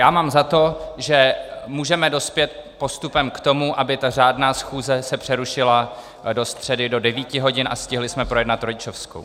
Já mám za to, že můžeme dospět postupem k tomu, aby ta řádná schůze se přerušila do středy do 9 hodin a stihli jsme projednat rodičovskou.